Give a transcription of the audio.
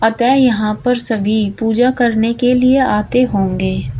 अतः यहां पर सभी पूजा करने के लिए आते होंगे।